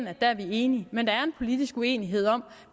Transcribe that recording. at der er vi enige men der er en politisk uenighed om